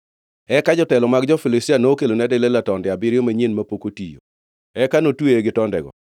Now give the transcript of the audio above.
Eka jotelo mag jo-Filistia nokelone Delila tonde abiriyo manyien mapok otiyo, eka notweye gi tondego.